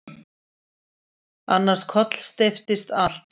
Annars kollsteypist allt.